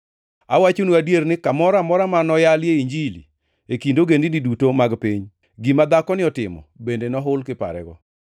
Awachonu adier ni kamoro amora ma noyalie Injili e kind ogendini duto mag piny, gima dhakoni otimo bende nohul, kiparego.”